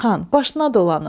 Xan, başına dolanım.